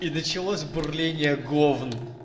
и началось бурление говн